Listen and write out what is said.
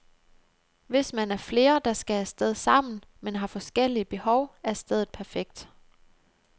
Hvis man er flere, der skal af sted sammen, men har forskellige behov, er stedet perfekt.